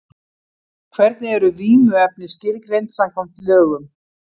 Hvernig eru vímuefni skilgreind samkvæmt lögum?